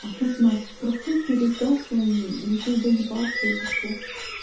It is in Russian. а тут на простой пересдаче он решил доебаться или что